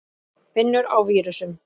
Vinnur á vírusum.